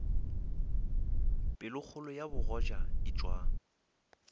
pelokgolo ya bogoja e tšwa